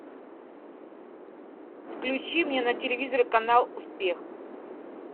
включи мне на телевизоре канал успех